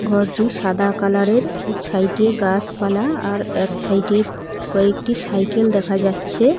ও একটি সাদা কালারের ছাইটি গাসপালা আর এক ছাইটে কয়েকটি সাইকেল দেখা যাচ্ছে।